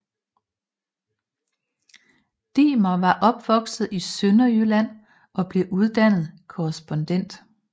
Diemer var opvokset i Sønderjylland og blev uddannet korrespondent